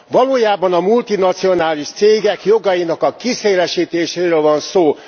Valójában a multinacionális cégek jogainak a kiszélesítéséről van szó.